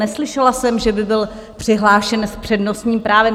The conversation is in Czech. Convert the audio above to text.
Neslyšela jsem, že by byl přihlášen s přednostním právem.